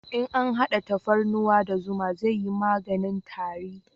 In an hada tafarnuwa da zuma zai yi maganin tari